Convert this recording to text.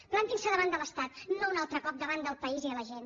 plantin se davant de l’estat no un altre cop davant del país i de la gent